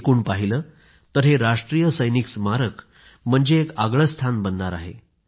एकूण पाहिलं तर हे राष्ट्रीय सैनिक स्मारक म्हणजे एक आगळं स्थान बनणार आहे